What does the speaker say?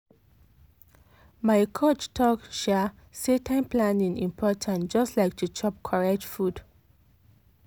my coach talk um say time planning important just like to chop correct food.